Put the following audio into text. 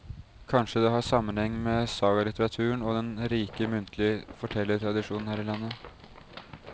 Kanskje det har sammenheng med sagalitteraturen og den rike muntlige fortellertradisjonen her i landet.